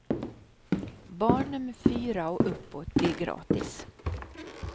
Barn nummer fyra och uppåt blir gratis.